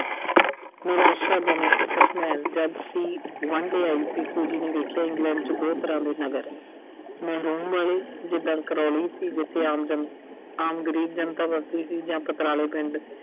ਨਿਰਾਸ਼ਾਜਨਕ ਆਈ ਸੀ, Fuji ਨੇ ਵੇਖਿਆ ਕਿ ਇੰਗਲੈਂਡ 'ਚ ਬਹੁਤ ਤਰ੍ਹਾਂ ਦੇ ਨਗਰ ਆ। ਜਿਦਾਂ Crawley ਸੀ, ਜਿੱਥੇ ਆਮ ਜਨ ਅਹ ਆਮ ਗਰੀਬ ਜਨਤਾ ਵੱਸਦੀ ਸੀ ਜਾਂ ਪਿੰਡ